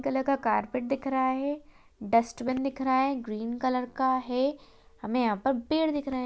Colour का carpet दिख रहा है डस्टबिन दिख रहा है ग्रीन कलर का है हमें यहाँ पर पेड़ दिख रहें।